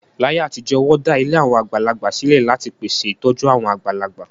Láyé àtijọ́, wọ́n dá ilé àwọn àgbàlagbà sílẹ̀ láti pèsè ìtọ́jú àwọn àgbàlagbà.